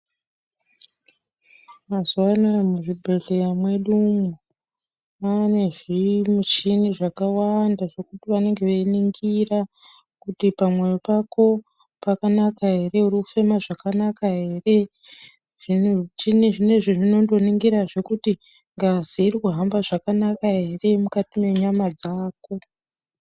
Mazuwanaya muzvibhedhlera mwedu umo mane zvimuchini zvakawanda zvekuti vanenge veiningira kuti pamwoyo pako pakanaka ere, urikufema zvakanaka ere zvimuchini zvinezvi zvinondoningira zvee kuti ngazi irikuramba zvakanaka ere mukati mwenyama dzako.